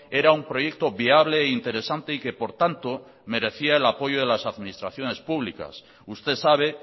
era un proyecto viable e interesante y que por tanto merecía el apoyo de las administraciones públicas usted sabe